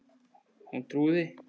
Hún trúði